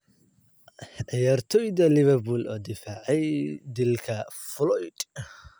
Ciyaartoyda Liverpool oo difaacay dilka Floyd